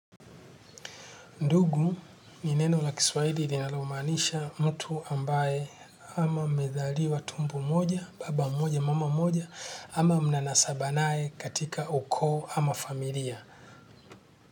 Ndugu ni neno la kiswahili linalomaanisha mtu ambaye. Ama mmezaliwa tumbo moja, baba mmoja, mama mmoja ama mnanasaba nae katika ukoo ama familia.